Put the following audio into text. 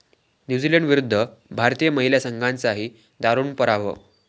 न्यूझीलंडविरुद्ध भारतीय महिला संघाचाही दारूण पराभव